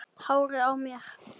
Hárið á mér?